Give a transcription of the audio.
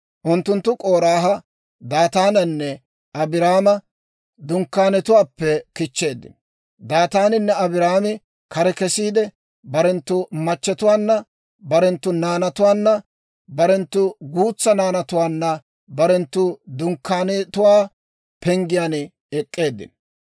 Unttunttu K'oraaha, Daataananne Abiiraama dunkkaanetuwaappe kichcheeddino. Daataaninne Abiiraami kare kesiide, barenttu machchetuwaanna, barenttu naanatuwaanna barenttu guutsaa naanatuwaanna barenttu dunkkaanetuwaa penggiyaan ek'k'eeddino.